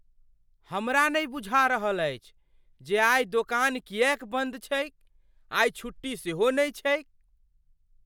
हमरा नहि बुझा रहल अछि जे आइ दोकान किएक बन्द छैक। आइ छुट्टी सेहो नहि छैक।